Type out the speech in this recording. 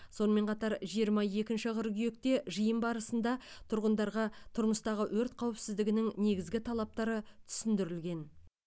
сонымен қатар жиырма екінші қыркүйекте жиын барысында тұрғындарға тұрмыстағы өрт қауіпсіздігінің негізгі талаптары түсіндірілген